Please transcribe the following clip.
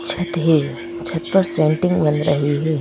छत है छत पर सेंटिंग बनता है।